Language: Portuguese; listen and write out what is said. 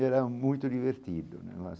E era muito divertido né.